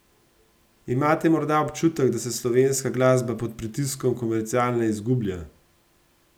Imate morda občutek, da se slovenska glasba pod pritiskom komerciale izgublja?